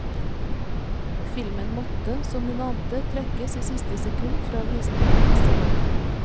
Filmen måtte, som hun ante, trekkes i siste sekund fra visning på festivalen.